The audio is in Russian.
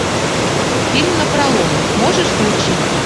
фильм напролом можешь включить